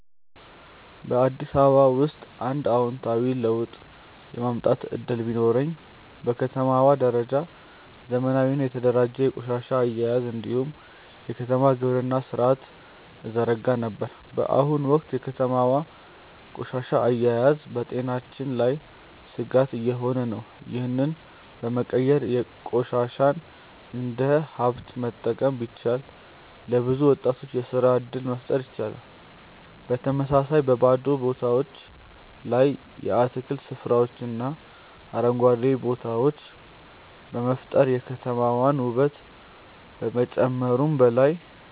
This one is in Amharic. በአዲስ አበባ ውስጥ አንድ አዎንታዊ ለውጥ የማምጣት እድል ቢኖረኝ፣ በከተማዋ ደረጃ ዘመናዊና የተደራጀ የቆሻሻ አያያዝ እንዲሁም የከተማ ግብርና ሥርዓትን እዘረጋ ነበር። በአሁኑ ወቅት የከተማዋ ቆሻሻ አያያዝ በጤናችን ላይ ስጋት እየሆነ ነው፤ ይህንን በመቀየር ቆሻሻን እንደ ሀብት መጠቀም ቢቻል፣ ለብዙ ወጣቶች የስራ እድል መፍጠር ይቻላል። በተመሳሳይ፣ በባዶ ቦታዎች ላይ የአትክልት ስፍራዎችንና አረንጓዴ ቦታዎችን በመፍጠር የከተማዋን ውበት ከመጨመሩም በላይ፣